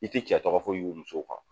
I ti cɛ tɔgɔ foyi y'u musow kan